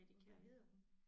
Og hvad hedder hun?